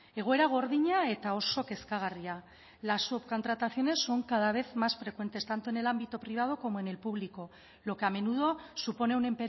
egoera gordina eta oso kezkagarria las subcontrataciones son cada vez más frecuentes tanto en el ámbito privado como en el público lo que a menudo supone un